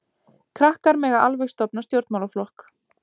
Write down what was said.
Krakkar mega alveg stofna stjórnmálaflokk.